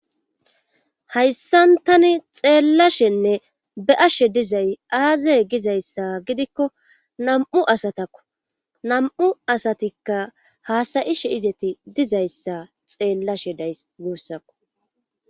hayssan tani xeellashenne be'ashshe dizay aaze gizayssa gidikko nam7u asatakko nam7u asatikka haasayishe izeti dizayssa xeellashe days guussako